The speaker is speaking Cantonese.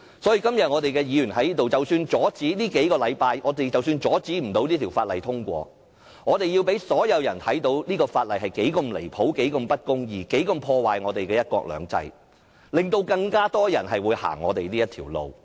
所以，即使我們在這裏只能拖延數星期而不能阻止這項《條例草案》獲通過，也要讓所有人看見這項《條例草案》有多離譜、不公義及破壞"一國兩制"，從而使更多的人會走我們這條路。